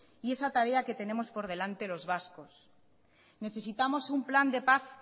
y esa tarea que tenemos por delante los vascos necesitamos un plan de paz